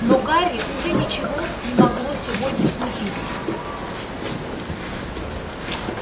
но гарри уже ничего не могло сегодня смутить